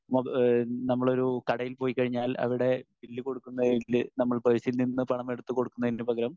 speaker 1 മൊ ഏഹ് നമ്മളൊരു കടയിൽ പോയി കഴിഞ്ഞാൽ അവിടെ ബില്ല് കൊടുക്കുന്നതില് നമ്മൾ പേഴ്സിൽനിന്ന് പണം എടുത്തുകൊടുക്കുന്നതിനു പകരം